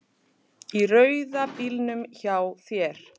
Í rauða bílnum hjá þér.